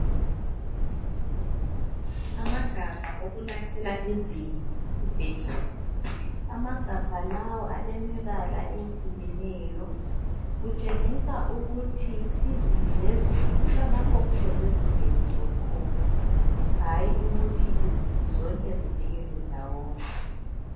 Amagabha okulahlela izibi esibhedlela. Amagabha lawa alemibala eyehlukeneyo. Kutshengisa ukuthi izibi lezibi kulalapho okufuze zingeniswe khona, hayi ukuthi izibi zonke zijikelwe ndawonye.